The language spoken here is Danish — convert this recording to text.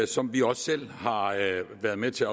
som vi også selv har været med til